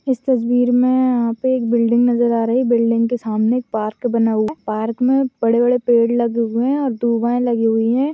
इस तस्वीर में य-यहाँ पे एक बिल्डिंग नज़र आ रही बिल्डिंग के सामने एक पार्क बना हुआ है पार्क में बड़े-बड़े पेड़ लगे हुए है और लगी हुई है ।